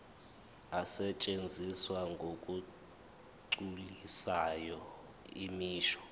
asetshenziswa ngokugculisayo imisho